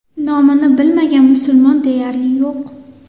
Nomini bilmagan musulmon deyarli yo‘q.